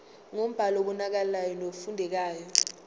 ngombhalo obonakalayo nofundekayo